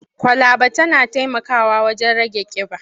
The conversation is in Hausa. Kwalaba tana taimakawa wajen rage ƙiba.